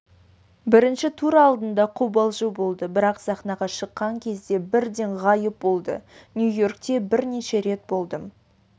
бірінші тур алдында қобалжу болды бірақ сахнаға шыққан кезде бірден ғайып болды нью-йоркте бірнеше рет болдым